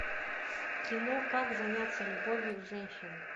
кино как заняться любовью с женщиной